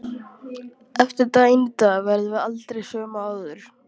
Eftir daginn í dag verðum við aldrei söm og áður.